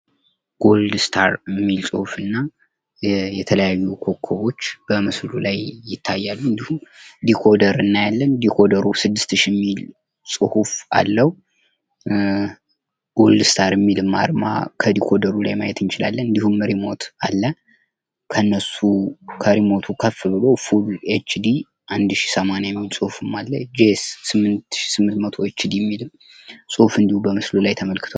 ጎልድ ስታር የሚል ጽሁፍ እና የተለያዩ ኮኮቦች በምስሉ ላይ ይታያሉ እንዲሁም ዲኮደር እናያለን ዲኮደሩ 6000 የሚል ጽሁፍ አለው። ጎልድ ስታር የሚልም አርማ ከዲኮደሩ ላይ ማየት እንችላለን። እንዲሁም ሪሞት አለ፤ ከነሱም ከሪሞቱ ከፍ ብሎ ፉል ኤች ዲ 1080 የሚልም ጽሁፍ አለ፤ ጂ ኤስ 8800 የሚልም ጽሁፍ እንዲሁም በምስሉ ላይ ተመልክቷል።